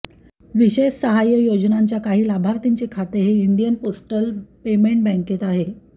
विशेष सहाय्य योजनांच्या काही लाभार्थींचे खाते हे इंडियन पोस्टल पेमेंट बँकेत आहे